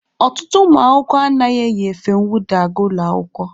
Ọtụtụ ụmụ akwụkwọ anaghị eyi efe nwụda aga ụlọ akwụkwọ.